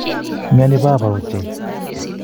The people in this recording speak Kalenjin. Imnyoni baba ochein